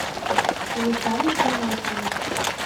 виталий геннадьевич